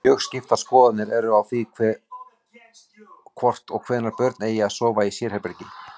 Mjög skiptar skoðanir eru á því hvort og hvenær börn eigi að sofa í sérherbergi.